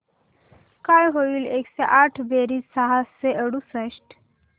काय होईल एकशे आठ बेरीज सहाशे अडुसष्ट